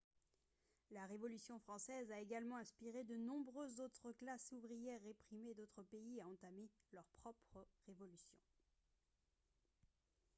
la révolution française a également inspiré de nombreuses autres classes ouvrières réprimées d'autres pays à entamer leur propre révolution